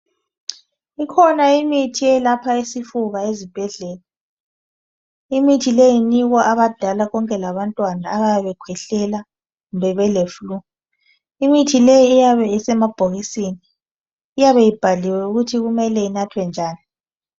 Ikhona imithi eyelapha isifuba ezibhedlela imithi le inikwa abadala konke labantwana abayabe bekhwehlela kumbe bele flue imithi le iyabe isemabhokisini iyabe ibhaliwe ukuthi kumele inathwe njani.